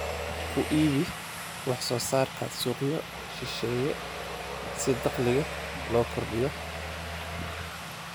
Ku iibi wax soo saarkaaga suuqyo shisheeye si dakhliga loo kordhiyo.